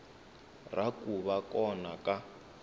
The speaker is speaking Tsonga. ra ku va kona ka